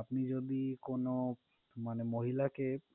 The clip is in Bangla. আপনি যদি কোন মানে মহিলাকে,